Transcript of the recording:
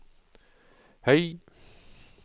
høy